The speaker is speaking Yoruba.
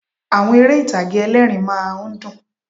Àwọn eré ìtàgé ẹlẹ́ẹ̀rín rmá a ń dùn